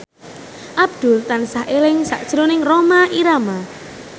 Abdul tansah eling sakjroning Rhoma Irama